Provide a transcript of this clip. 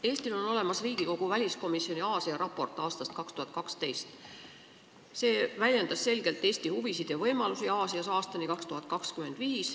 Eestil on olemas Riigikogu väliskomisjoni Aasia-raport aastast 2012, mis väljendab selgelt Eesti huvisid ja võimalusi Aasias aastani 2025.